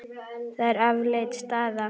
Það er afleit staða.